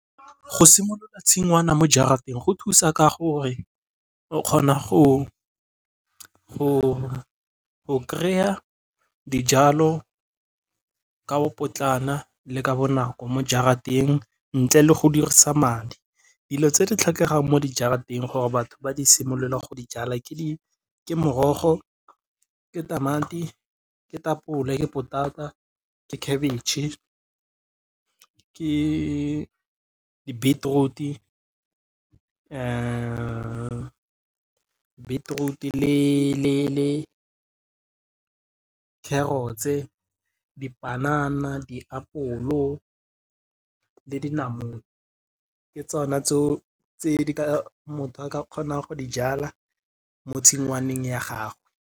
Go simolola tshingwana mo jarateng go thusa ka gore o kgona go kry-a dijalo ka bopotlana le ka bonako, ntle le go dirisa madi. Dilo tse di tlhokegang ba di simiolole go di jala ke di, ke morogo, ke tamati, ke tamati, ke tapole, ke potata ke khebitšhe, ke di-beetroot le carrots-e, dipanana, diapolo, le dinamune, ke tsona tse di ka tse motho a ka kgonang go di jala mo tshingwaneng ya gagwe.